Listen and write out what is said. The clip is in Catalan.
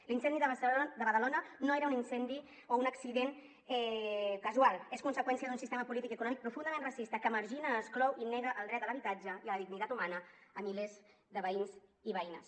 l’incendi de badalona no era un incendi o un accident casual és conseqüència d’un sistema polític i econòmic profundament racista que margina exclou i nega el dret a l’habitatge i a la dignitat humana a milers de veïns i veïnes